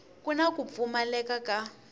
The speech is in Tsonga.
ku na ku pfumaleka ka